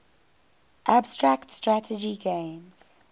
abstract strategy games